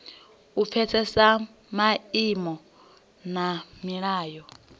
u pfesesa maimo na milayo